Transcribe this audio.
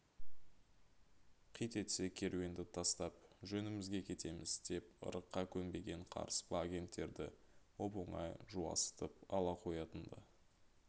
қит етсе керуенді тастап жөнімізге кетеміз деп ырыққа көнбеген қарыспа агенттерді оп-оңай жуасытып ала қоятын-ды